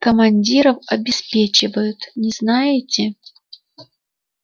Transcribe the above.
командиров обеспечивают не знаете